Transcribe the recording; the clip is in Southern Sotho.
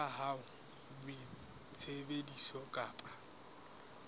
ya hao ya boitsebiso kapa